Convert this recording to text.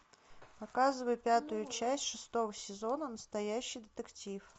показывай пятую часть шестого сезона настоящий детектив